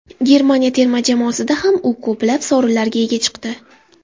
Germaniya terma jamoasida ham u ko‘plab sovrinlarga ega chiqdi.